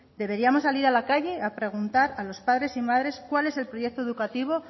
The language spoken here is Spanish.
deberíamos salir a la calle a preguntar a los padres y madres cuál es el proyecto educativo